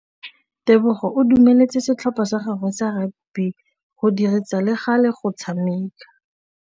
Tebogô o dumeletse setlhopha sa gagwe sa rakabi go dirisa le galê go tshameka.